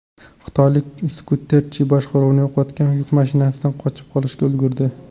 Xitoylik skuterchi boshqaruvni yo‘qotgan yuk mashinasidan qochib qolishga ulgurdi.